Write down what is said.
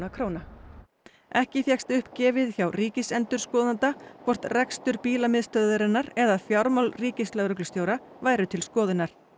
króna ekki fékkst upp gefið hjá ríkisendurskoðanda hvort rekstur eða fjármál ríkislögreglustjóra væru til skoðunar